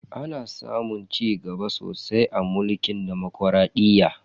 Ana samun cigaba sosai a mulkin demokradiyya.